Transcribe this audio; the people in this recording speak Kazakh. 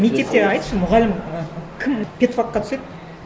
мектепте айтшы мұғалім і кім пед факқа түседі